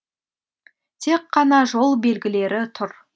тек қана жол белгілері тұр